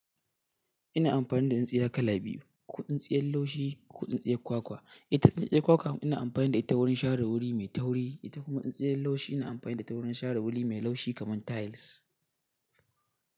Ina amfani da tsintsiya kala biyu, ko tsintsiyar laushi ko tsintsiyar kwakwa. Ita tsintsiya kwakwa ina amfani da ita wurin share wuri mai tauri, ita kuma tsintsiyar laushi ina amfani da ta wurin share wuri mai laushi kamar tiles.